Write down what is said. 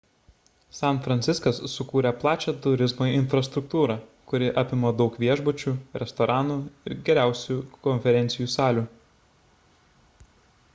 san franciskas sukūrė plačią turizmo infrastruktūrą kuri apima daug viešbučių restoranų ir geriausių konferencijų salių